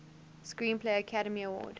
screenplay academy award